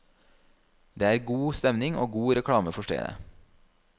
Det er god stemning og god reklame for stedet.